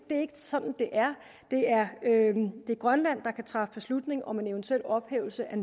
er sådan det er det er grønland der kan træffe beslutning om en eventuel ophævelse af